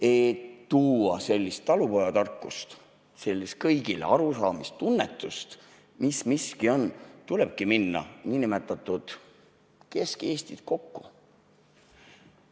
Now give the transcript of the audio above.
Et tuua sellist talupojatarkust, sellist kõigile arusaamise tunnetust, mis miski on, tulebki minna kesk Eestit kokku.